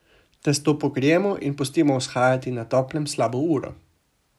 Testo pokrijemo in pustimo vzhajati na toplem slabo uro.